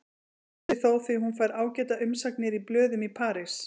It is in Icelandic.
Það borgar sig þó því hún fær ágætar umsagnir í blöðum í París.